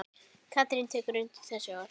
Katrín tekur undir þessi orð.